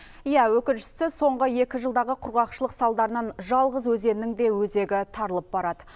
иә өкініштісі соңғы екі жылдағы құрғақшылық салдарынан жалғыз өзеннің де өзегі тарылып барады